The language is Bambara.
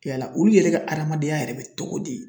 Yala olu yɛrɛ ka adamadenya yɛrɛ bɛ togo di?